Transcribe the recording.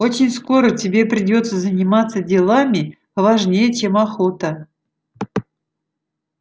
очень скоро тебе придётся заниматься делами поважнее чем охота